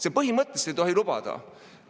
Me põhimõtteliselt ei tohi seda lubada!